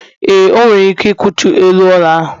ee, o nwere ike ikuchie elu ụlọ ahụ